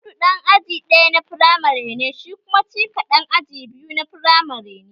Audu ɗan aji ɗaya na firamare ne shi kuma Chika ɗan aji biyu na firamare ne